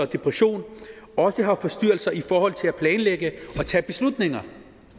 depression også har forstyrrelser i forhold til at planlægge og tage beslutninger